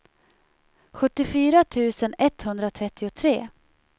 sjuttiofyra tusen etthundratrettiotre